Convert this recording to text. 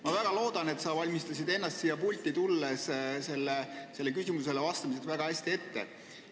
Ma väga loodan, et sa valmistasid ennast siia pulti tulekuks ja küsimustele vastamiseks väga hästi ette.